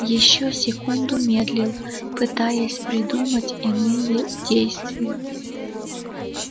ещё секунду медлил пытаясь придумать иные действия